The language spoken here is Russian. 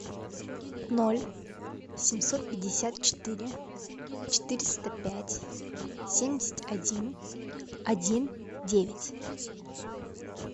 ноль семьсот пятьдесят четыре четыреста пять семьдесят один один девять